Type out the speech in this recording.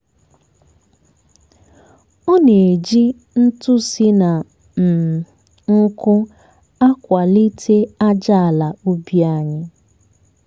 ọ na-eji ntụ si na um nkwụ́ akwalite aja ala ubi anyị.